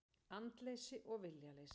Andleysi og viljaleysi.